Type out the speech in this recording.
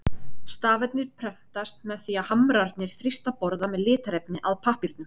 stafirnir prentast með því að hamrarnir þrýsta borða með litarefni að pappírnum